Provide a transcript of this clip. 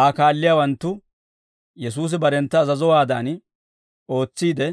Aa kaalliyaawanttu Yesuusi barentta azazowaadan ootsiide,